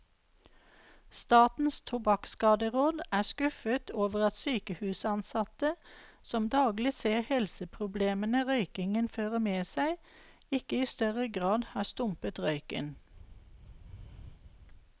Statens tobakkskaderåd er skuffet over at sykehusansatte, som daglig ser helseproblemene røykingen fører med seg, ikke i større grad har stumpet røyken.